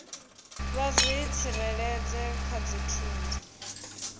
vha zwi tsireledze kha dzithunzi